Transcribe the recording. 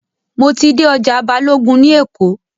Mo ti dé ọjà Balógun ní Èkó.